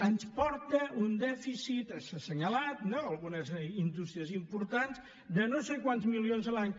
ens porta un dèficit s’ha assenyalat algunes indústries importants de no sé quants milions l’any